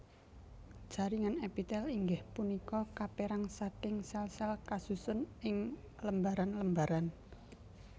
Jaringan èpitèl inggih punika kapèrang saking sèl sèl kasusun ing lembaran lembaran